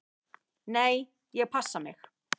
"""Nei, ég passa mig."""